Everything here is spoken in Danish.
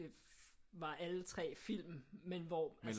Var alle 3 film men men hvor altså